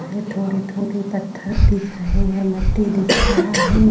है| थोड़े-थोड़े पत्थर दिख रहे हैं मट्टी दिख रहा है।